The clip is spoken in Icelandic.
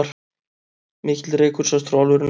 Mikill reykur sást frá álverinu